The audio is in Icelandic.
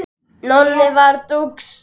Nonni var dúx.